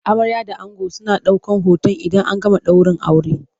Amarya da ango suna daukan hoton idan an gama daurin aure.